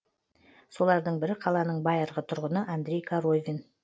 солардың бірі қаланың байырғы тұрғыны андрей коровин